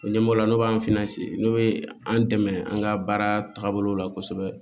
O ɲɛmɔgɔ n'o b'an finna sigi n'u be an dɛmɛ an ka baara tagabolo la kosɛbɛ